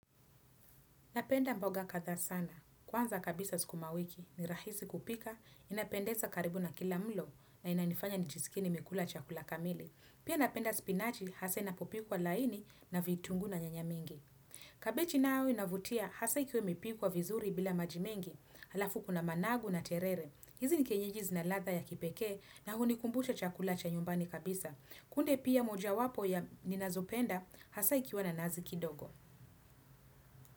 Napenda mboga katha sana. Kwanza kabisa sukumawiki, ni rahisi kupika inapendeza karibu na kila mlo na inanifanya nijiskie nimekula chakula kamili. Pia napenda spinachi hasa inapopikwa laini na vitunguu na nyanya mingi. Kabichi nao inavutia hasa ikiwa imepikwa vizuri bila maji mengi halafu kuna managu na terere. Hizi ni kienyeji zina ladha ya kipekee na hunikumbusha chakula cha nyumbani kabisa. Kunde pia moja wapo ya ninazopenda hasa ikiwa na nazi kidogo.